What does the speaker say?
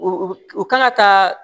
U u kan ka taa